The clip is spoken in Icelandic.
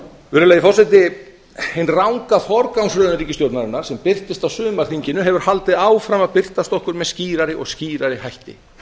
virðulegi forseti hin ranga forgangsröðun ríkisstjórnarinnar sem birtist á sumarþinginu hefur haldið áfram að birtast okkur með skýrari og skýrari hætti